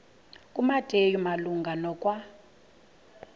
kumateyu malunga nokwa